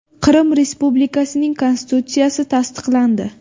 Qrim respublikasining konstitutsiyasi tasdiqlandi.